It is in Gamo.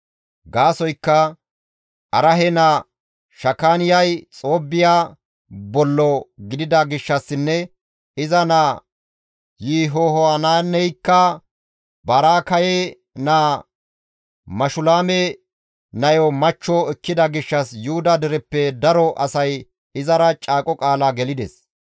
Gaasoykka Arahe naa Shakaaniyay Xoobbiya bollo gidida gishshassinne iza naa Yihohanaaneykka Baraakaye naa Mashulaame nayo machcho ekkida gishshas Yuhuda dereppe daro asay izara caaqo qaala gelides.